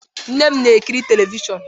Nne m na-ekiri telivishọn